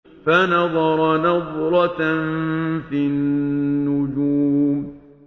فَنَظَرَ نَظْرَةً فِي النُّجُومِ